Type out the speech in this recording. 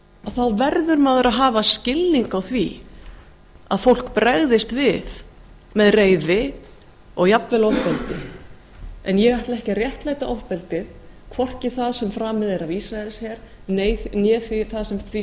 þá verður maður að hafa skilning á ári að fólk bregðist við með reiði og jafnvel ofbeldi en ég ætla ekki að réttlæta ofbeldið hvorki það sem framið er af ísraelsher né því